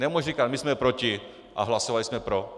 Nemůže říkat "my jsme proti a hlasovali jsme pro".